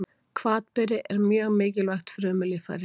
Hvatberi er mjög mikilvægt frumulíffæri.